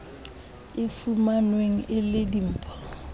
e fumanweng e le dimpho